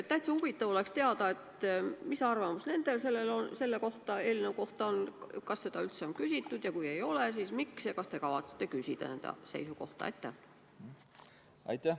Täitsa huvitav oleks teada, mis arvamus nendel selle eelnõu kohta on, kas seda üldse on küsitud ja kui ei ole, siis miks, ja kas te kavatsete nende seisukohta küsida.